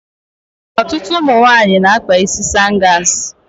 Ọtụtụ ụmụ nwaanyị na-akpa isi sangas.